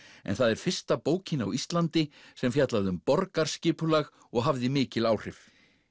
en það er fyrsta bókin á Íslandi sem fjallaði um borgarskipulag og hafði mikil áhrif